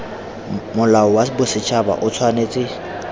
molao wa bosetšhaba o tshwanetse